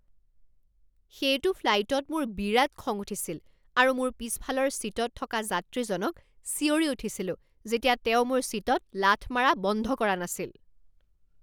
সেইটো ফ্লাইটত মোৰ বিৰাট খং উঠিছিল আৰু মোৰ পিছফালৰ ছিটত থকা যাত্ৰীজনক চিঞৰি উঠিছিলোঁ যেতিয়া তেওঁ মোৰ ছিটত লাথ মাৰা বন্ধ কৰা নাছিল।